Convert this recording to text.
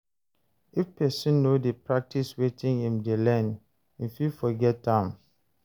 If persin no de practice wetin im de learn im fit forget am